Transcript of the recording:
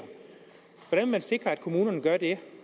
hvordan vil man sikre at kommunerne gør det